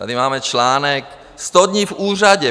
Tady máme článek Sto dní v úřadě.